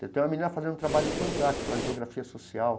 Tem uma menina fazendo um trabalho fantástico na Geografia Social.